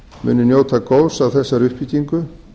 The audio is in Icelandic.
muni njóta góðs af þessari uppbyggingu